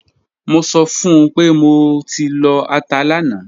Mo sọ fun pe mo ti lọ ata lana